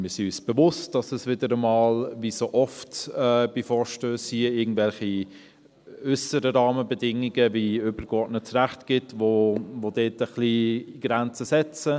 Wir sind uns bewusst, dass es wieder einmal – wie so oft bei Vorstössen hier in diesem Saal – irgendwelche äusseren Rahmenbedingungen gibt, wie übergeordnetes Recht, die uns ein wenig Grenzen setzen.